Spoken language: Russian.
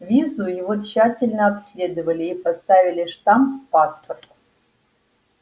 визу его тщательно обследовали и поставили штамп в паспорт